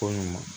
Ko ɲuman